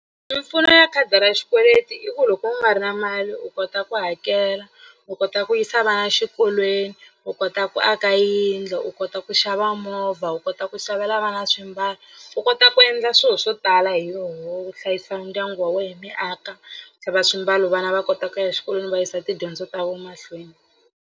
Mimpfuno ya khadi ra xikweleti i ku loko u nga ri na mali u kota ku hakela u kota ku yisa vana exikolweni u kota ku aka yindlu u kota ku xava movha u kota ta ku xavela vana swimbalo u kota ku endla swilo swo tala hi yoho u hlayisa ndyangu wa wena mi aka xava swimbalo vana va kota ku ya exikolweni va yisa tidyondzo ta vona emahlweni.